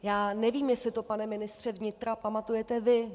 Já nevím, jestli to, pane ministře vnitra, pamatujete vy.